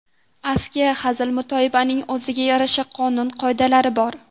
Askiya, hazil-mutoyibaning o‘ziga yarasha qonun-qoidalari bor.